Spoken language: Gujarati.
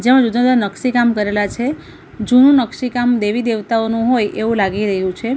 નકસી કામ કરેલા છે જૂનુ નકશી કામ દેવી દેવતાઓનું હોય એવું લાગી રહ્યું છે.